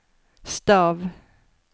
stav